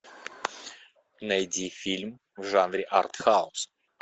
найди фильм в жанре артхаус